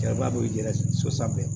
Cɛba bɛ jɛgɛ so sanfɛ